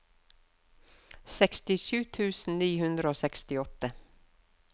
sekstisju tusen ni hundre og sekstiåtte